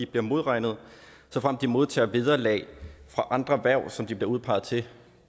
bliver modregnet såfremt de modtager vederlag fra andre hverv som de bliver udpeget til